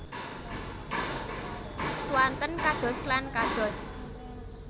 Swanten kados lan kados